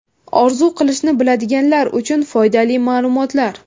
Orzu qilishni biladiganlar uchun foydali ma’lumotlar.